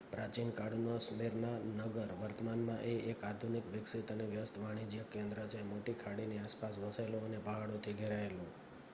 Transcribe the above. પ્રાચીનકાળનો Smyrna નગર વર્તમાનમાં એ એક આધુનિક વિકસિત અને વ્યસ્ત વાણિજ્યક કેન્દ્ર છે મોટી ખાડીની આસપાસ વસેલો અને પહાડોથી ઘેરાયેલું